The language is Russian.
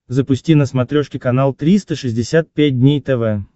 запусти на смотрешке канал триста шестьдесят пять дней тв